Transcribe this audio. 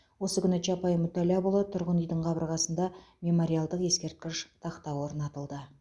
осы күні чапай мүтәлләпұлы тұрғын үйдің қабырғасында мемориалдық ескерткіш тақта орнатылды